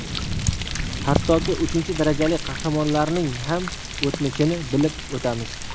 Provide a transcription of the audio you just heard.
Hattoki uchinchi darajali qahramonlarning ham o‘tmishini bilib o‘tamiz.